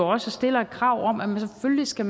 også stiller et krav om at man selvfølgelig skal